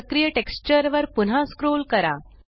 सक्रिय टेक्स्चर वर पुन्हा स्क्रोल करा